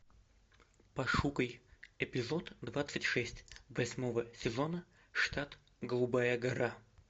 пошукай эпизод двадцать шесть восьмого сезона штат голубая гора